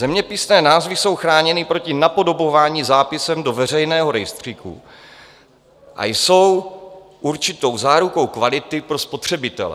Zeměpisné názvy jsou chráněny proti napodobování zápisem do veřejného rejstříku a jsou určitou zárukou kvality pro spotřebitele.